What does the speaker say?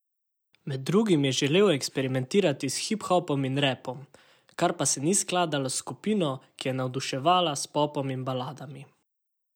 Med drugim je želel eksperimentirati s hip hopom in rapom, kar pa se ni skladalo s skupino, ki je navduševala s popom in baladami.